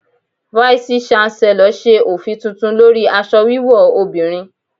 Váísí shánselọ̀ ṣe òfin tuntun lórí aṣọ wíwò obìnrin.